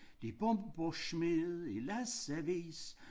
De bomber smed i læssevis